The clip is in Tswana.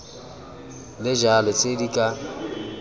le jalo tse di ka